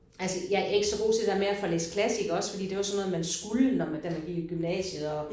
Altså jeg er ikke så god til det der med at få læst klassikere også fordi det var det var sådan noget man skulle når man da man gik i gymnasiet og